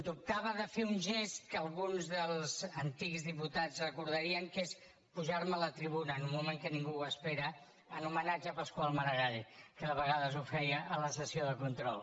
dubtava de fer un gest que alguns dels antics diputats recordarien que és pujar a la tribuna en un moment que ningú ho espera en homenatge a pasqual maragall que de vegades ho feia a la sessió de control